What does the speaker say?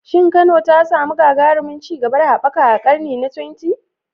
Shin Kano ta samu gagarumin ci gaba da haɓaka a karni na 20?